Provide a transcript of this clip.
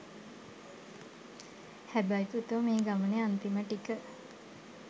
හැබැයි පුතෝ මේ ගමනේ අන්තිම ටික